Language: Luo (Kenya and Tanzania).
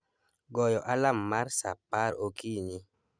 goyo alarm mar saa apar okinyi